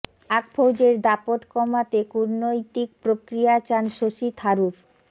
পাক ফৌজের দাপট কমাতে কূটনৈতিক প্রক্রিয়া চান শশী থারুর